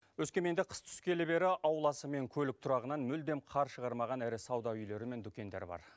өскеменде қыс түскелі бері ауласы мен көлік тұрағынан мүлдем қар шығармаған ірі сауда үйлері мен дүкендер бар